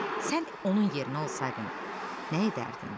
Sən onun yerinə olsaydın, nə edərdin?